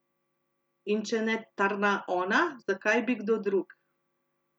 In če ne tarna ona, zakaj bi kdo drug?